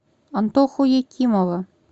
антоху екимова